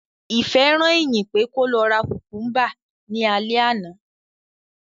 Ìfẹ́ rán Ìyìn pé kó lọ ra kùmkúmbà ní alẹ́ àná